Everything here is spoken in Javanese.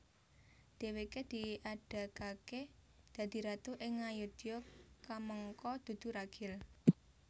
Dhèwèké diadegaké dadi ratu ing Ngayodya kamangka dudu ragil